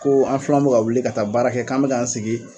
ko an filanw be ka wuli ka taa baara kɛ k'an bɛ k'an sigi